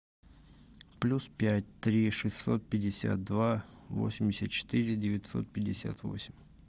плюс пять три шестьсот пятьдесят два восемьдесят четыре девятьсот пятьдесят восемь